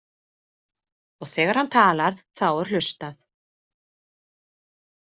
Og þegar hann talar þá er hlustað.